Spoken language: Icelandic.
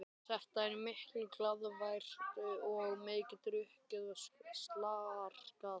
Það er mikil glaðværð og mikið drukkið og slarkað.